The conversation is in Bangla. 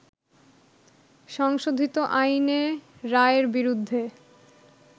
সংশোধিত আইনে রায়ের বিরুদ্ধে